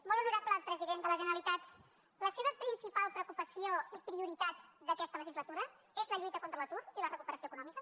molt honorable president de la generalitat la seva principal preocupació i prioritat d’aquesta legislatura és la lluita contra l’atur i la recuperació econòmica